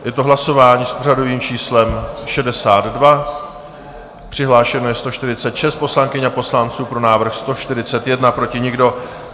Je to hlasování s pořadovým číslem 62, přihlášeno je 146 poslankyň a poslanců, pro návrh 141, proti nikdo.